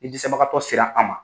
Ni dɛsɛbagatɔ sera an ma.